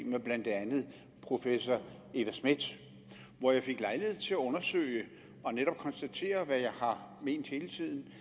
med blandt andet professor eva schmidt hvor jeg fik lejlighed til at undersøge og netop konstatere hvad jeg har ment hele tiden